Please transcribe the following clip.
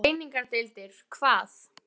Greiningardeildir hvað?